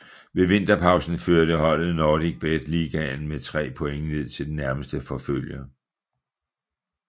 Ved vinterpausen førte holdet NordicBet Ligaen med tre point ned til den nærmeste forfølger